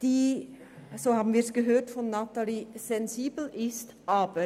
Auch Natalie Imboden hat erwähnt, dass wir es mit einem sensiblen Thema zu tun haben.